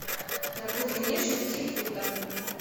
на глубине шести футов